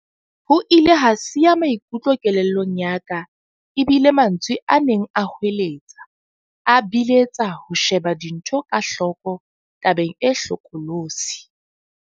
Ho ile ha siya maikutlo kelellong ya ka e bile mantswe a neng a hoeletsa, a biletsa ho sheba dintho ka hloko tabeng e hlokolosi.